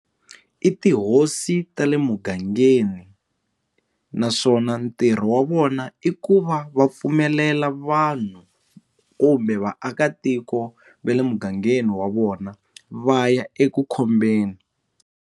I tihosi ta le mugangeni naswona ntirho wa vona i ku va va pfumelela vanhu kumbe vaakatiko va le mugangeni wa vona va ya eku khombeni.